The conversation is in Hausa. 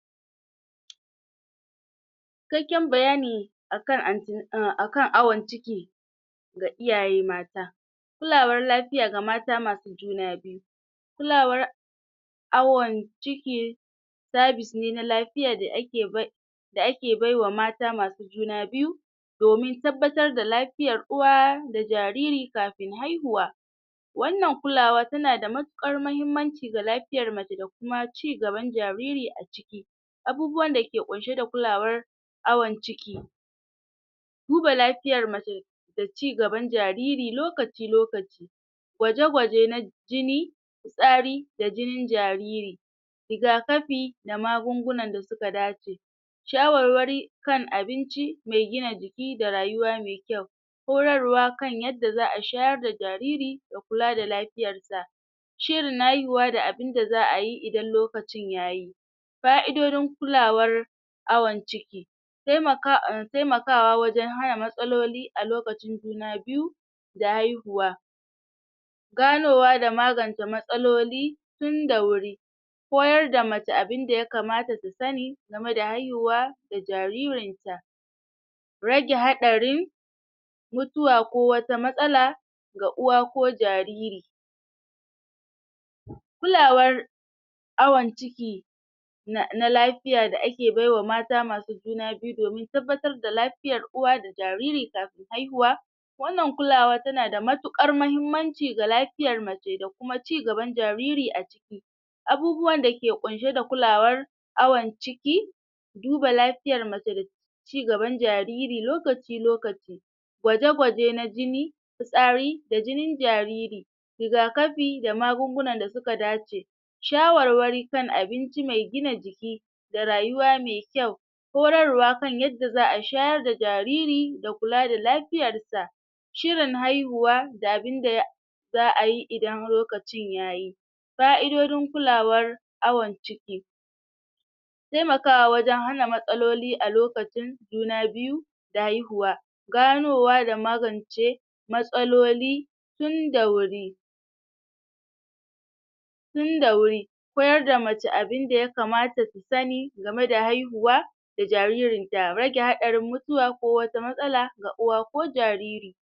Cikakken bayani akan anti akan awan ciki ga iyaye mata kulawar lafiya ga mata masu juna biyu kulawar awan ciki savice ne na lafiya da ake bai da ake baiwa mata masu juna biyu domin tabbatar da lafiyar uwa da jariri kafin haihuwa wannan kulawa tana da matuƙar mahimmanci ga laiyar mace da kuma cigaban jariri a ciki abubuwan dake kunshe da kulawar awan ciki duba lafiyar mace da cigaban jariri lokaci lokaci gwaje- gwaje na jini fitsari da jinin jariri rigakafi da magungunan da suka dace shawarwari can abinci mai gina jiki da rayuwa mai kyau horarwa kan yadda za'a shayar da jariri da kula da lafiyar sa shirin haihuwa da abinda za'a yi ida lokacin yayi ƙa'idodin kulawar awan ciki taimakawa um taikama wajan haka matsaloli a lokacin juna biyu da haihuwa ganowa da magance matsaloli tunda wuri koyar da mace abinda ya kamata ta sani game da haihuwa da jaririnta rage haɗarin mutuwa ko wata matsala ga uwa ko jariri kulawar awn ciki na na lafiya da ake baiwa mata masu juna biyu domin tabbatar da lafiyar uwa da jaririn kafin haihuwa wannan kulawa tana da matuƙar mahimmanci ga lafiyar mace da kuma cigaban jariri a ciki abubuwan dake kunshe d kulawar awan ciki duba lafiyar mace cigaban jariri lokaci- lokaci gwaje-gwaje na jini fitsari d jinin jariri rigakafi da magungunan da suka dace shawarwari kan abinci mai gina jiki da rayuwa mai kyau horarwa kan yadda za'a shayar da jariri da kula da lafiyar sa shirin haihuwa da abinda ya za'a yi idan lokacin yayi ƙa'idojin kulawar awan ciki taimakawa wajan hana matsaloli a lokacin juna biyu da haihuwa ganowa da magance matsaloli tunda wuri tunda wuri koyar da mace abinda yakamata su sani game da haihuwa da jaririnta, raje haɗari mutuwa ko wata matsala ga uwa ko jariri.